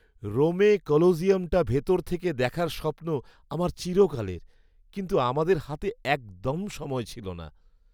রোমে কলোসিয়ামটা ভিতর থেকে দেখার স্বপ্ন আমার চিরকালের, কিন্তু আমাদের হাতে একদম সময় ছিল না।